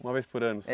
Uma vez por ano só?